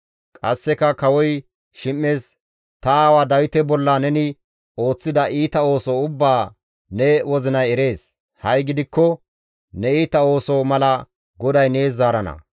Qasseka kawoy Shim7es, «Ta aawa Dawite bolla neni ooththida iita ooso ubbaa ne wozinay erees. Ha7i gidikko ne iita ooso mala GODAY nees zaarana.